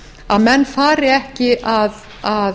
að menn fari ekki að